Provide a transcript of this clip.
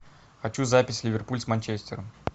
хочу запись ливерпуль с манчестером